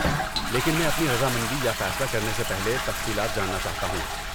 لیکن میں اپنی رضامندی یا فیصلہ کرنے سے پہلے، تفصیلات جاننا چاہتا ہوں۔